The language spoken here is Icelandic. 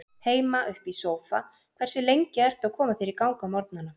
Heima upp í sófa Hversu lengi ertu að koma þér í gang á morgnanna?